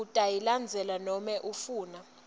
utayilandza nobe ufuna